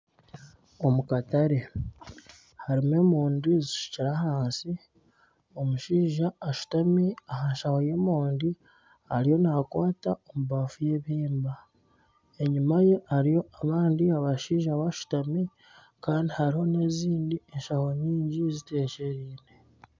Omukatare harimu emondi zishukire ahansi omushaija ashutami aha nshaho y'emondi ariyo nakwata ebafu y'ebihimba enyuma ye hariyo abandi abashaija bashatumi kandi hariho nana ezindi nshaho nyingi zitekyereine